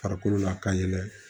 Farikolo la ka yɛlɛ